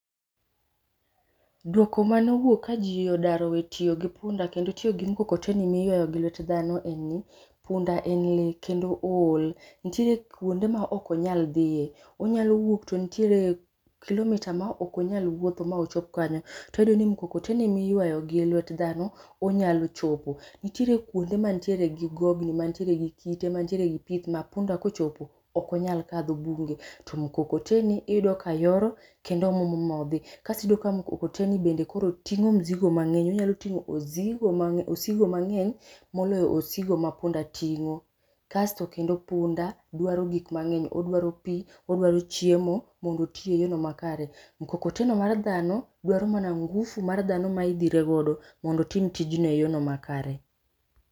duoko mano wuok ka ji odar owe tiyo gi punda kendo tiyo gi mkokoteni ma iyuayo gi lwet dhano ,punda e ng'eye kendo ool, nitiere kuonde ma ok onyal dhiye onyalo wuok to nitiere kuonde ma ok onya dhiye, onyalo wuok to nitiere kilomiita ma ok onyal wuothe mochop kanyo, to wayudo ni mkokoteni miyuayo gi lwet dhano onyalo chopo, nitiere kuonde mantiere gi gogni mantiere gi kite mantiere gi pith ma punda kochopo okonyal kalo bugego to mkokoteni iyudo ka yoro kendo muomo ma odhi kas iyudo ka mkokoteni bende koro tingo misigo mang'eny, onyalo tingo osigo mang'eny moloyo osigo ma punda ting'o, kasto kendo punda dwaro gik mang'eny, odwaro pii odwaro chiemo mondo oti e yoo makare, mkokoteno mar dhano dwaro mana ngufu mar dhano ma idhire godo mondo otim tijno e yo makare.